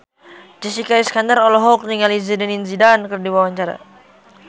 Jessica Iskandar olohok ningali Zidane Zidane keur diwawancara